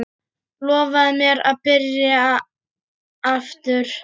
Lofaðu mér að byrja aftur!